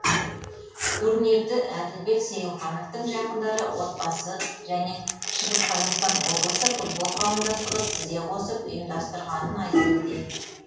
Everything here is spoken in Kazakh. турнирді әділбек сейілхановтың жақындары отбасы және шығыс қазақстан облысы футбол қауымдастығы тізе қосып ұйымдастырғанын айта кетейік